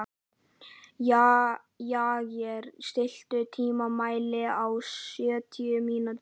Jagger, stilltu tímamælinn á sjötíu mínútur.